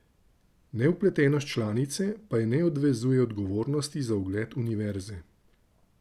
Nevpletenost članice pa je ne odvezuje odgovornosti za ugled univerze.